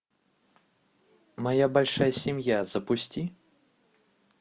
моя большая семья запусти